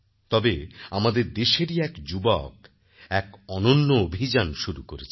তবে আমাদের দেশেরই এক যুবক এক অনন্য অভিযান শুরু করেছেন